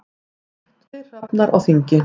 Tveir hrafnar á þingi.